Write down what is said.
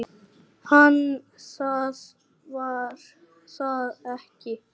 En það var það ekki.